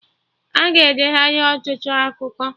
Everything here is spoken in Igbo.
Aga edeghari ọtụtụ akụkọ